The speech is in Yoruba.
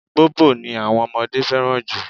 Bobo ni àwọn ọmọdé fẹ́ràn jù.